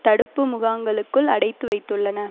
தடுப்பு முகாங்களுக்குள் அடைத்து வைத்துள்ளன